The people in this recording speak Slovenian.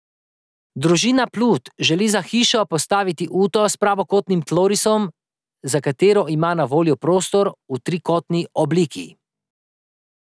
Družina Plut želi za hišo postaviti uto s pravokotnim tlorisom, za katero ima na voljo prostor v trikotni obliki.